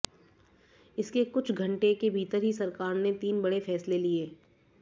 इसके कुछ घंटे के भीतर ही सरकार ने तीन बड़े फैसले लिए